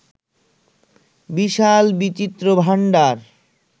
বিশাল বিচিত্র ভাণ্ডার